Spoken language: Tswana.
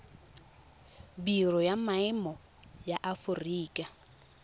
biro ya maemo ya aforika